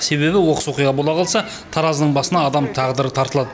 себебі оқыс оқиға бола қалса таразының басына адам тағдыры тартылады